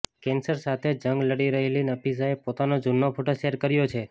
cancer સાથે જંગ લડી રહેલી નફીસાએ પોતાનો જૂનો ફોટો શેયર કર્યો છે